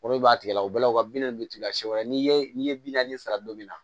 O de b'a tigɛ la o bɛɛ la u ka binkasi wɛrɛ n'i ye n'i ye bi naani sara don min na